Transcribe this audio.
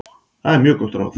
Það er mjög gott ráð.